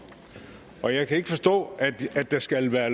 og jeg kan ikke forstå at der skal være